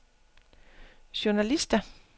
journalister